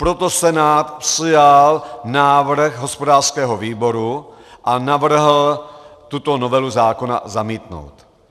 Proto Senát přijal návrh hospodářského výboru a navrhl tuto novelu zákona zamítnout.